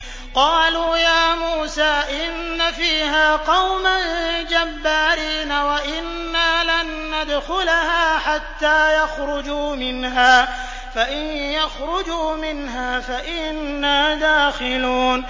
قَالُوا يَا مُوسَىٰ إِنَّ فِيهَا قَوْمًا جَبَّارِينَ وَإِنَّا لَن نَّدْخُلَهَا حَتَّىٰ يَخْرُجُوا مِنْهَا فَإِن يَخْرُجُوا مِنْهَا فَإِنَّا دَاخِلُونَ